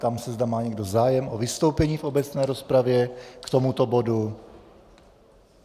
Ptám se, zda má někdo zájem o vystoupení v obecné rozpravě k tomuto bodu.